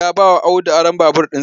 Ya bawa Audu aron babur ɗin